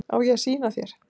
Á ég að sýna þér?